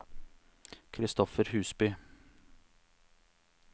Christopher Husby